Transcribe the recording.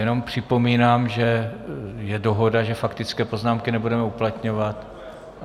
Jenom připomínám, že je dohoda, že faktické poznámky nebudeme uplatňovat.